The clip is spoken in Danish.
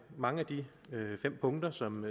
mange af de fem punkter som